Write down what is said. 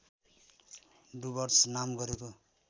डुवर्स नाम गरेको